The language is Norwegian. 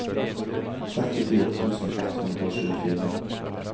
trettifire tusen ett hundre og tjuefire